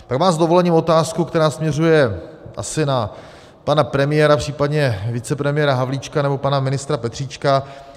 Pak mám s dovolením otázku, která směřuje asi na pana premiéra, případně vicepremiéra Havlíčka nebo pana ministra Petříčka.